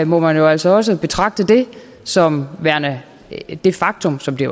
må man jo altså også betragte det som værende det faktum som det